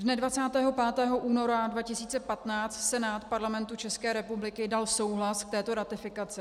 Dne 25. února 2015 Senát Parlamentu České republiky dal souhlas k této ratifikaci.